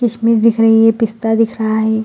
किसमिस दिख रही है पिस्ता दिख रहा है ।